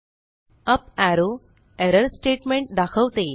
up arrow error statement दाखवते